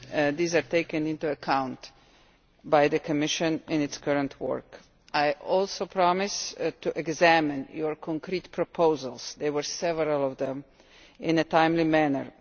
these are taken into account by the Commission in its current work. I also promise to examine your concrete proposals there were several of them in a timely manner.